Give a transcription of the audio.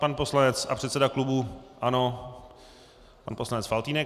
Pan poslanec a předseda klubu ANO, pan poslanec Faltýnek.